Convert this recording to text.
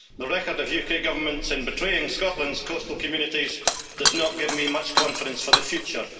The record of UK Governments in betraying Scotland's coastal communities does not give me much confidence for the future.